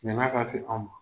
Ɲan'a ka se anw ma